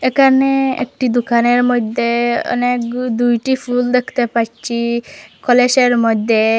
একানে একটি দোকানের মইদ্যে অনেক গ দুইটি ফুল দেখতে পাচ্চি কলেসের মদ্যে ।